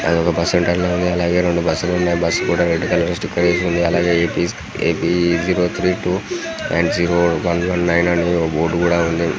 అదొక bus center లా ఉంది. అలాగే రెండు బస్సులు ఉన్నాయి. బస్సు కి రెడ్ కలర్ స్టికర్ వేసి ఉంది. అలాగే AP AP zero three two and zero బండ్లు ఉన్నాయి . అలాగే బోర్డ్ కూడా ఉంది.